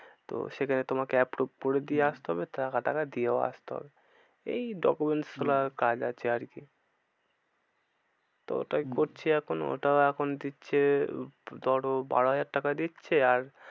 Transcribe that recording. তো সেখানে তোমাকে approve করে দিয়ে আসতে হবে টাকা, টাকা দিয়েও আসতে হবে। এই document কাজ আছে আর কি। তো ওটাই করছি এখন ওটাও এখন দিচ্ছে ধরো বারো হাজার টাকা দিচ্ছে আর